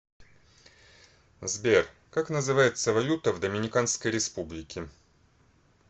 сбер как называется валюта в доминиканской республике